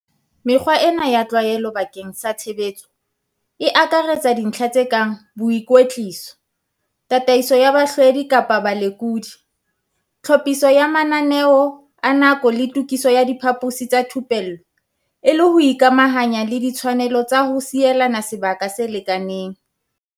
Mekgwa ena ya tlwaelo bakeng sa tshebetso, e akaretsa dintlha tse kang boikwetliso, tataiso ya bahlwedi kapa balekodi, tlhophiso ya mananeo a nako le tokiso ya diphaposi tsa thupello e le ho ikamahanya le ditshwanelo tsa ho sielana sebaka se lekaneng.